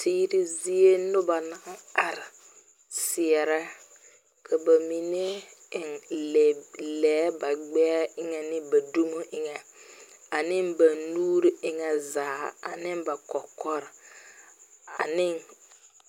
Tigri zie nuba nang arẽ a seɛre ka ba menne eng leɛ ba gbɛɛ enga ne ba dumo enga a ne ba nuuri enga zaa ane ba kɔkɔri ane.